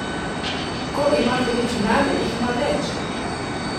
Ko ima hudič mlade, jih ima več!